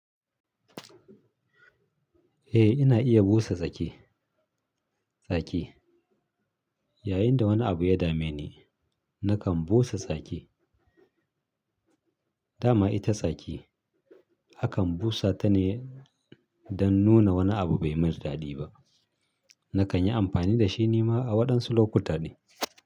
Eh ina iya busa zaki, zaki. Yayinda wani abu ya dame ni, nakan busa zaki. Dama ita tsaki akan busa ta ne don nuna wani abu bai mai daɗi ba. Nakan yi amfani da shi ni ma a waɗansu lokuta ne.